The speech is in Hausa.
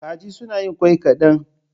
Kaji suna yin ƙwai kaɗan.